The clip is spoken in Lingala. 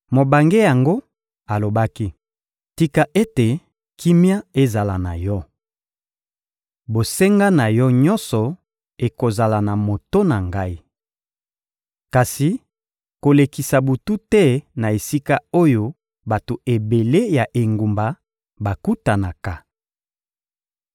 Mobange yango alobaki: — Tika ete kimia ezala na yo! Bosenga na yo nyonso ekozala na moto na ngai. Kasi kolekisa butu te na esika oyo bato ebele ya engumba bakutanaka.